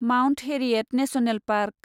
Mount Harriet national park